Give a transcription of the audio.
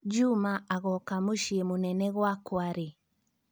juma angoka mũciĩ mũnene gwakwa rĩ